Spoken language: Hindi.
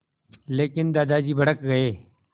लेकिन दादाजी भड़क गए